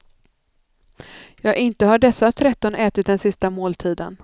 Ja, inte har dessa tretton ätit den sista måltiden.